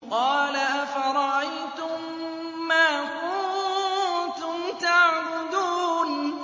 قَالَ أَفَرَأَيْتُم مَّا كُنتُمْ تَعْبُدُونَ